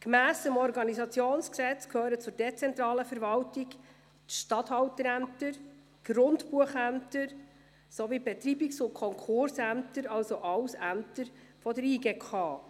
Gemäss OrG gehören zur dezentralen Verwaltung die Statthalterämter, die Grundbuchämter sowie die Betreibungs- und Konkursämter, also alles Ämter der JGK.